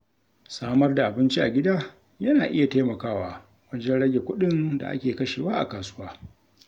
Samar da abinci a gida, yana iya taimakawa wajen rage kuɗin da ake kashewa a kasuwa.